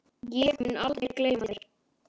Ég mun aldrei gleyma þér.